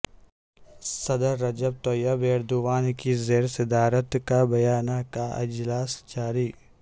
صدر Recep Tayyip Erdogan کی زیر صدارت کابینہ کا اجلاس جاری